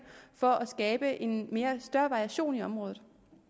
for at skabe en større variation i området